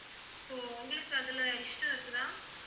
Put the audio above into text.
so உங்களுக்கு அதுல இஷ்டம் இருக்குதா?